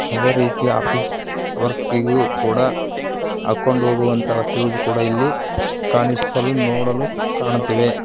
ಅದೇ ರೀತಿ ಆಫೀಸ್ ವರ್ಕಿ ಗು ಕೂಡ ಹಾಕೊಂಡ ಹೋಗುವಂತ ಶೂಸ್ ಕೂಡ ಇಲ್ಲಿ ಕಾಣಿಸಲು ನೋಡಲು ಕಾಣುತಿವೆ.